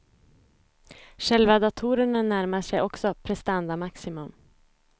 Själva datorerna närmar sig också prestandamaximum.